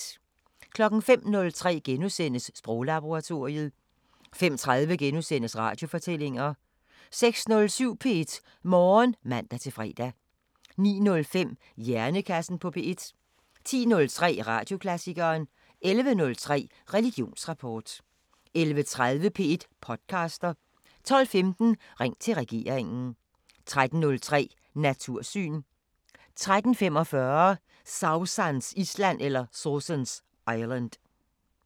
05:03: Sproglaboratoriet * 05:30: Radiofortællinger * 06:07: P1 Morgen (man-fre) 09:05: Hjernekassen på P1 10:03: Radioklassikeren 11:03: Religionsrapport 11:30: P1 podcaster 12:15: Ring til regeringen 13:03: Natursyn 13:45: Sausans Island